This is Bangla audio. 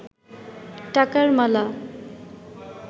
টাকার মালা